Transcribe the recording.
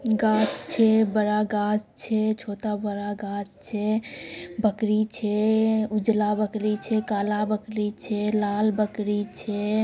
गाछ छै बड़ा गाछ छै छोटा-बड़ा गाछ छै बकरी छै उजला बकरी छै काला बकरी छै लाल बकरी छै।